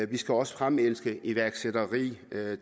vi skal også fremelske iværksætteri